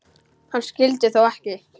Hann skyldi þó ekki.